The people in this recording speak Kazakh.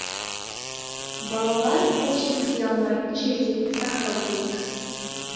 балалар қол жеткізе алмайтын жерде сақтау керек